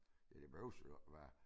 Ja det behøves jo ikke være